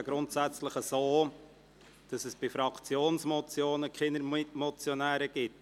Es ist grundsätzlich so, dass es bei Fraktionsmotionen keine Mitmotionäre gibt.